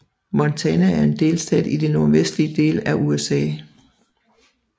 Montana er en delstat i den nordvestlige del af USA